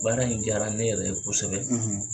Baara in diyara ne yɛrɛ ye kosɛbɛ,